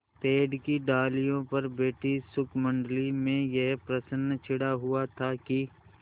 पेड़ की डालियों पर बैठी शुकमंडली में यह प्रश्न छिड़ा हुआ था कि